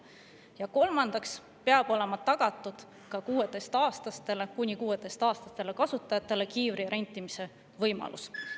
Ja kolmandaks peab olema kuni 16‑aastastele kasutajatele tagatud kiivri rentimise võimalus.